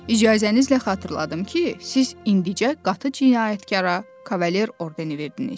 İcazənizlə xatırladım ki, siz indicə qatı cinayətkara Kavalye ordeni verdiniz.